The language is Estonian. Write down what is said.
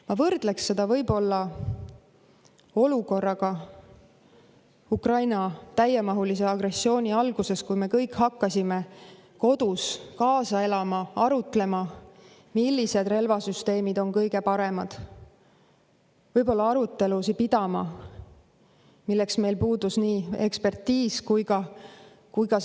Ma võrdleksin seda olukorraga Ukraina-vastase täiemahulise agressiooni alguses, kui me kõik hakkasime kodus kaasa elama, arutlema, millised relvasüsteemid on kõige paremad, võib-olla pidama arutelusid, milleks meil puudusid.